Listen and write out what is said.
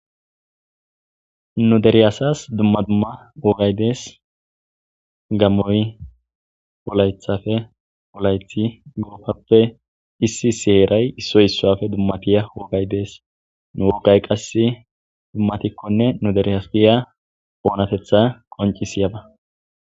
nu dere asas dumma dumma ogaydes gammoy olaythafe olaythi gurofappe issi sieeray issoy issuafe dummatiya oogaydees nu woogay qass dummatikkonne nuderihaspiya oonatetha qonci siyaba